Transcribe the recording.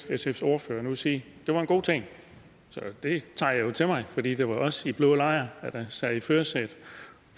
sfs ordfører nu sige var en god ting så det tager jeg jo til mig fordi det var os i den blå lejr der sad i førersædet